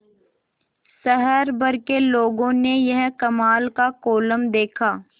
शहर भर के लोगों ने यह कमाल का कोलम देखा